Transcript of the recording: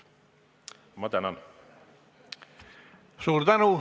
Suur tänu!